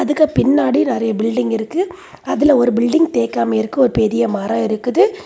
அதுக்கு பின்னாடி நறைய பில்டிங் இருக்கு. அதுல ஒரு பில்டிங் தேய்க்காம இருக்கு. ஒரு பெரிய மரம் இருக்குது.